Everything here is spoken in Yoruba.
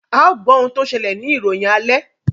ào gbó òún tó ṣẹlẹ ní ìròyìn alè